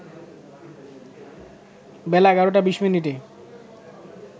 বেলা ১১টা ২০ মিনিটে